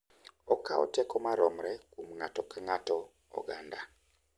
Okawo teko maromre kuom ng’ato ka ng’ato, oganda,